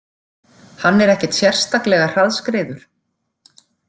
Hann er ekkert sérstaklega hraðskreiður.